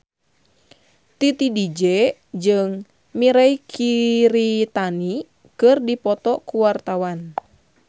Titi DJ jeung Mirei Kiritani keur dipoto ku wartawan